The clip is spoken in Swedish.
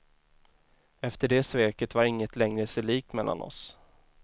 Efter det sveket var ingenting längre sig likt mellan oss.